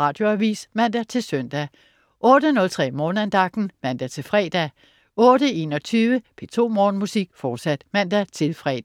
Radioavis (man-søn) 08.03 Morgenandagten (man-fre) 08.21 P2 Morgenmusik, fortsat (man-fre)